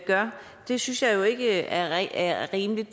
gør synes jeg ikke er ikke er rimeligt